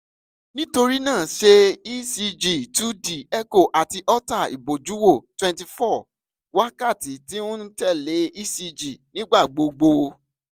nitorina ṣe ecg two d echo ati holter ibojuwo twenty-four wakati ti n tẹle ecg nigbagbogbo